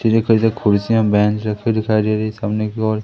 कुर्सियां बेंच रखे दिखाई दे रही है सामने की ओर--